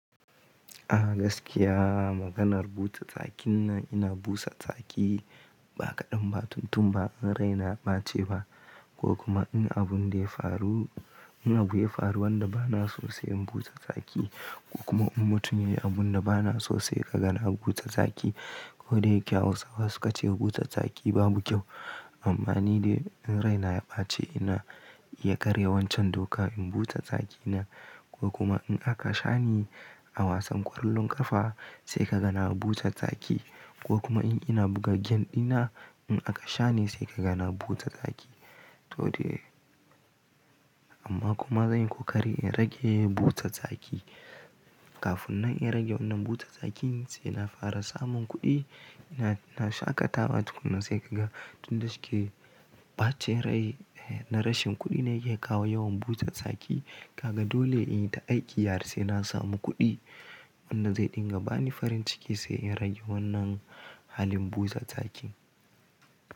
A gaskiya maganar busa tsakin nan ina busa tsaki ba kaɗan ba, tun tun ba in raina ya bace ba ko kuma in abun da ya faru, in abu ya faru wanda bana sosai in busa tsaki ko kuma in mutum yayi abun da bana sosai ka gana busa tsaki. Ko dayake Hausawa suka ce busa tsaki babu kyau. Amma ni dai in raina ya bace ina iya karya wancan doka in busa tsaki na ko kuma in aka sha ni a wasan ƙwallon ƙafa sai ka gane busa tsaki ko kuma in ina buga game ina in aka sha ni sai ka gana buta tsaki. To dai amma kuma zan yi ƙoƙari in rage buta tsaki. Kafin na rage wannan busa tsaki sai na fara samun kuɗi, ina shaƙatawa tuku nan sai ka ga tun da suke bace rai, eh na rashin kuɗi ne yake kawo yawan busa tsaki. Kaga dole in yi ta aiki harsai na samu kuɗi. Wannan zai dinga bani farin ciki sai in rage wannan halin buta tsaki.